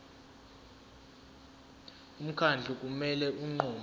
umkhandlu kumele unqume